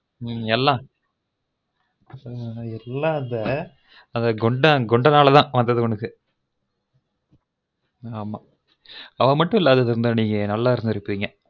ம்ம் எல்லாம் ம்ம்ம் எல்லம் அந்த குண்ட அந்த குண்டனால தான் வந்தது உனக்கு அந்த குண்டன் மட்டும் இல்லனா நீங்க நல்லா இருந்துருபிங்க